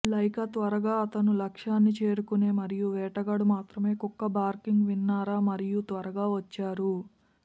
Lyca త్వరగా అతను లక్ష్యాన్ని చేరుకునే మరియు వేటగాడు మాత్రమే కుక్క బార్కింగ్ విన్నారా మరియు త్వరగా వచ్చారు